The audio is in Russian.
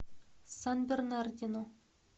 сан бернардино